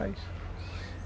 Só isso.